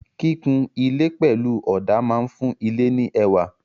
Kíkun ilé pẹ̀lú ọ̀dà máa fún ilé ní ẹwà.